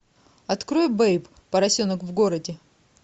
открой бэйб поросенок в городе